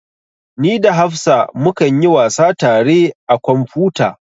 Ni da hafsa mu kan yi wasa tare a kwamfuta